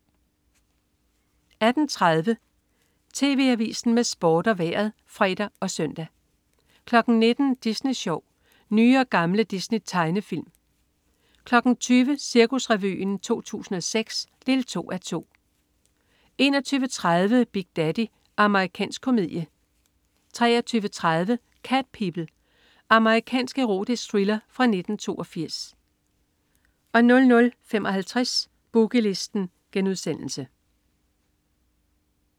18.30 TV Avisen med Sport og Vejret (fre og søn) 19.00 Disney Sjov. Nye og gamle Disney-tegnefilm 20.00 Cirkusrevyen 2006 2:2 21.30 Big Daddy. Amerikansk komedie 23.30 Cat People. Amerikansk erotisk thriller fra 1982 00.55 Boogie Listen*